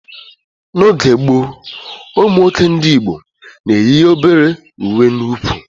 N'oge gboo, ụmụ nwoke ndị Igbo na-eyi obere uwe n'úkwù